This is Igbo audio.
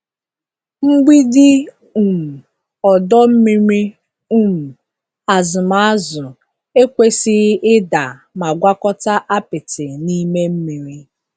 Mgbidi um ọdọ mmiri um azụm azụ ekwesịghị ịda ma gwakọta apịtị n'ime mmiri.